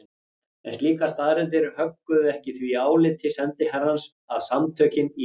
En slíkar staðreyndir högguðu ekki því áliti sendiherrans að Samtökin í